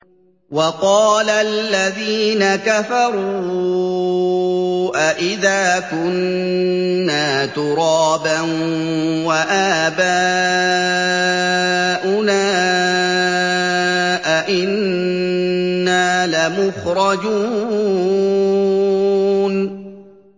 وَقَالَ الَّذِينَ كَفَرُوا أَإِذَا كُنَّا تُرَابًا وَآبَاؤُنَا أَئِنَّا لَمُخْرَجُونَ